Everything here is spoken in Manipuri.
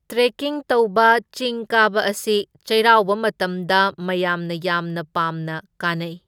ꯇ꯭ꯔꯦꯀꯤꯡ ꯇꯧꯕ ꯆꯤꯡ ꯀꯥꯕ ꯑꯁꯤ ꯆꯩꯔꯥꯎꯕ ꯃꯇꯝꯗ ꯃꯌꯥꯝꯅ ꯌꯥꯝꯅ ꯄꯥꯝꯅ ꯀꯥꯅꯩ꯫